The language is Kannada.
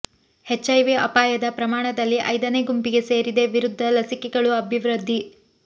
ಎಚ್ಐವಿ ಅಪಾಯದ ಪ್ರಮಾಣದಲ್ಲಿ ಐದನೇ ಗುಂಪಿಗೆ ಸೇರಿದೆ ವಿರುದ್ಧ ಲಸಿಕೆಗಳು ಅಭಿವೃದ್ಧಿ